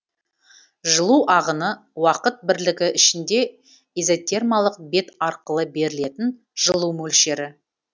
жылу ағыны уақыт бірлігі ішінде изотермалық бет арқылы берілетін жылу мөлшері